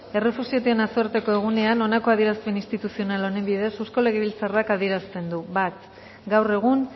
errefuxiatuen nazioarteko egunean honako adierazpen instituzional honen bidez eusko legebiltzarrak adierazten du bat gaur egun